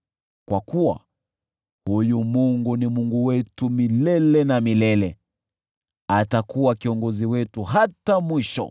Kwa kuwa huyu Mungu ni Mungu wetu milele na milele; atakuwa kiongozi wetu hata mwisho.